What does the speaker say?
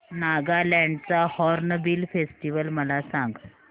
नागालँड चा Hornbill festival मला सांग